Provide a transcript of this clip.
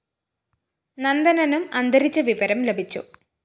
നന്ദനനും അന്തരിച്ച വിവരം ലഭിച്ചു